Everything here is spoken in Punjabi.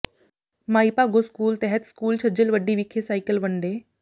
ਮਾਈ ਭਾਗੋ ਸਕੂਲ ਤਹਿਤ ਸਕੂਲ ਛੱਜਲਵੱਡੀ ਵਿਖੇ ਸਾਈਕਲ ਵੰਡੇ